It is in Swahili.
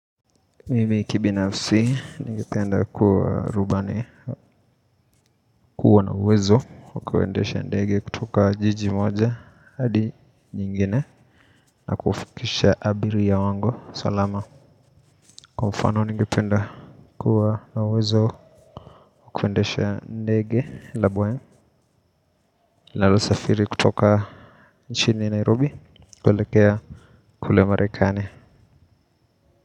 Mimi kibinafsi ningependa kuwa rubani kuwa na uwezo wa kuendesha ndege kutoka jiji moja hadi nyingine na kufikisha abiria wangu salama kwa mfano ningependa kuwa na uwezo wa kuendesha ndege la boeing linalosafiri kutoka nchini nairobi kuelekea kule marekani.